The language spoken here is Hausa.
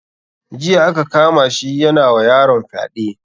Jiya aka kama shi yana wa yaron fyade.